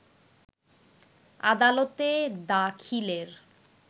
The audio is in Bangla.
আদালতে দাখিলের